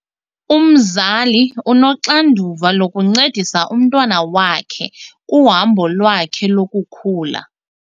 Umzali unoxanduva lokuncedisa umntwana wakhe kuhambo lwakhe lokukhula.